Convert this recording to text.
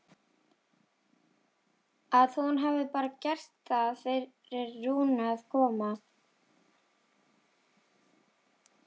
Að hún hafi bara gert það fyrir Rúnu að koma.